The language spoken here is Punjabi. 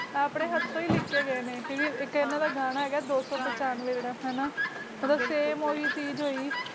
ਆਪਣੇ ਹੱਥੋਂ ਹੀ ਲਿਖ ਕਈ ਗੇ ਨੇ ਦੋ ਸੋ ਪਾਂਚਵੇ ਗਾਣੇ ਤਾਰਾ ਹੈ ਸਮੇ ਓਹੀ ਚੱਜ ਹੋਈ